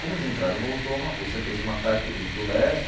Como eles entraram no outono, a Rússia fez uma tática de ir para o leste,